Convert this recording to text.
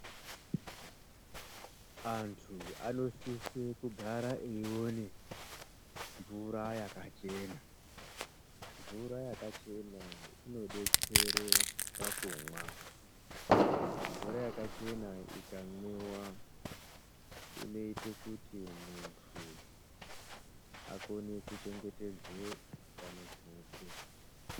Antu anosise kugara eione mvura yakachena. Mvura yakachena inodetsere pakumwa. Mvura yakachena ikamwiwa inoite kuti muntu akone kuchengetedze utano hwake.